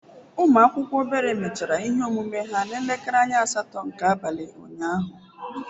Ụmụ akwụkwọ obere mechara ihe ọmụmụ ha n'elekere anya asatọ nke abalị unyaahụ.